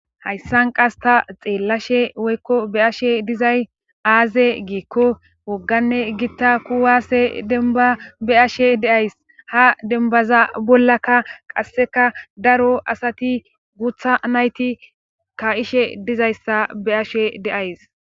hayssan qas ta xeelashe woykko be7ashe dizay aaze giikko wogganne gita kuwaase dembba be7ashe de7ays;ha dembbaza bollaka qasseka daro asati guutha nayti kaa7ishe dizayssa be7ashe de7ays.